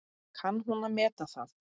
Kann hún að meta það?